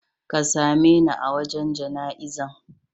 Ka same ne a wajan jana izan.